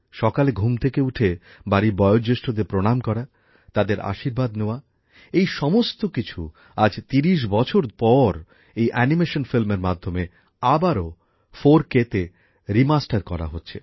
সকালে ঘুম থেকে উঠে বাড়ির বয়ো জ্যেষ্ঠদের প্রণাম করা তাদের আশীর্বাদ নেওয়া এই সমস্ত কিছু আজ ৩০ বছর পর এই অ্যানিমেশন ফিল্মের মাধ্যমে আবারো 4K তে রিমাস্টার করা হচ্ছে